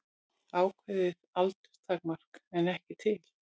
Ákveðið aldurstakmark er ekki til.